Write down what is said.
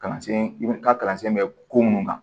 Kalansen ka kalansen bɛ ko mun kan